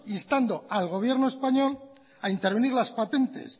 instando al gobierno español a intervenir las patentes